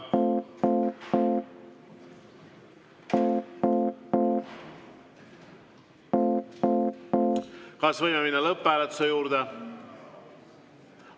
Kas võime minna lõpphääletuse juurde?